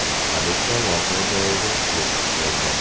Politsiya voqea joyiga yetib keldi.